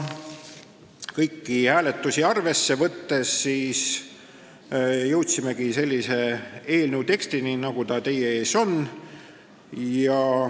Kõiki hääletusi arvesse võttes jõudsimegi sellise eelnõu tekstini, nagu ta teie ees on.